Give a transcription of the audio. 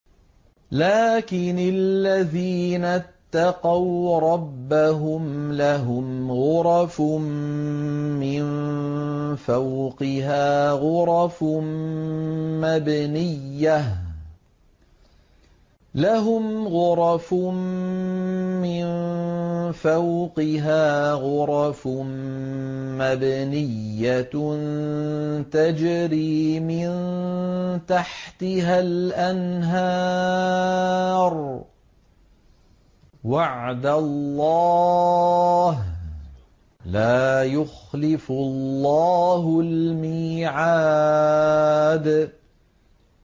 لَٰكِنِ الَّذِينَ اتَّقَوْا رَبَّهُمْ لَهُمْ غُرَفٌ مِّن فَوْقِهَا غُرَفٌ مَّبْنِيَّةٌ تَجْرِي مِن تَحْتِهَا الْأَنْهَارُ ۖ وَعْدَ اللَّهِ ۖ لَا يُخْلِفُ اللَّهُ الْمِيعَادَ